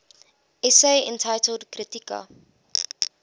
essays entitled kritika